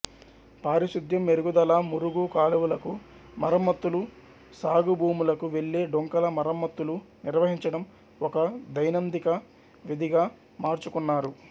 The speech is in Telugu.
పారిశుద్యం మెరుగుదల మురుగు కాలువలకు మరమ్మత్తులు సాగు భూములకు వెళ్ళే డొంకల మరమ్మత్తులు నిర్వహించడం ఒక దైనందిక విధిగా మార్చుకున్నారు